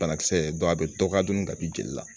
Banakisɛ a be dɔ ka dɔni kab'i jeli la